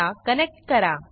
ला कनेक्ट करा